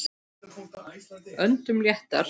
Öndum léttar.